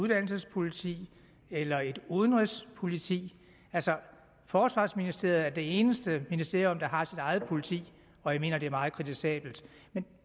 uddannelsespoliti eller et udenrigspoliti forsvarsministeriet er altså det eneste ministerium der har sit eget politi og jeg mener at det er meget kritisabelt men